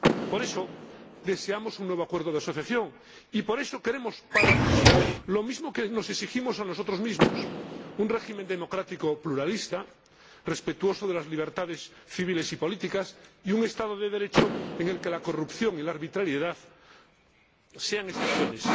Por eso, deseamos un nuevo acuerdo de asociación y por eso queremos para Rusia lo mismo que nos exigimos a nosotros mismos un régimen democrático pluralista respetuoso de las libertades civiles y políticas y un Estado de Derecho en el que la corrupción y la arbitrariedad sean excepciones.